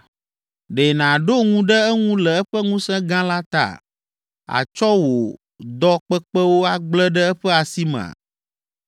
Ɖe nàɖo ŋu ɖe eŋu le eƒe ŋusẽ gã la ta? Àtsɔ wò dɔ kpekpewo agble ɖe eƒe asi mea?